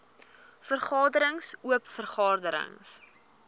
vergaderings oop vergaderings